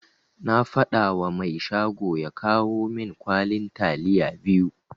Na fadawa mai shago ya kawo min kwalin taliya biyu.